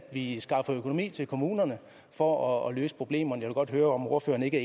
vi skaffer økonomi til kommunerne for at løse problemerne jeg vil godt høre om ordføreren ikke